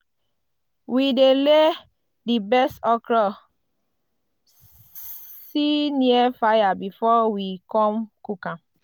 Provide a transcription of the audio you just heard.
we dey lay di best okra see near fire before we com cook am.